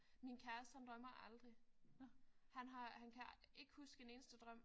Min kæreste han drømmer aldrig. Han har han kan ikke huske en eneste drøm